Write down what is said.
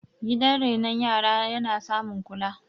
gidan renon yara na ya samun kula